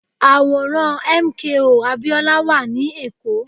Àwòrán MKO Abiola wà ní èkó